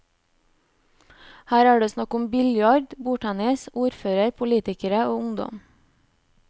Her er det snakk om biljard, bordtennis, ordfører, politikere og ungdom.